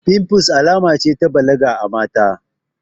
Fimfles alama ce ta balaga a mata